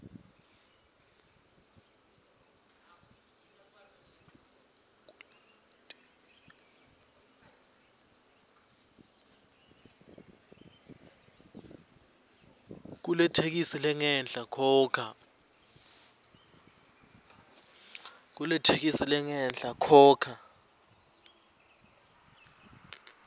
kuletheksthi lengenhla khokha